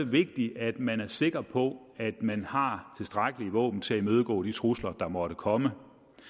vigtigt at man er sikker på at man har tilstrækkelige våben til at imødegå de trusler der måtte komme